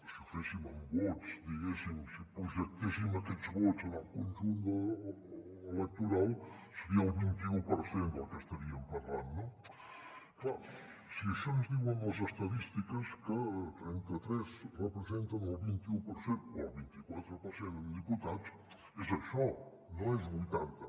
si ho féssim amb vots diguéssim si projectéssim aquests vots al conjunt electoral seria el vint i u per cent del que estaríem parlant no clar si això ens ho diuen les estadístiques que trenta tres representen el vint i u per cent o el vint i quatre per cent en diputats és això no és vuitanta